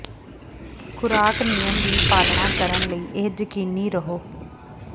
ਖੁਰਾਕ ਨਿਯਮ ਦੀ ਪਾਲਣਾ ਕਰਨ ਲਈ ਇਹ ਯਕੀਨੀ ਰਹੋ